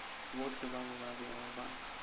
bohle bao ba bego ba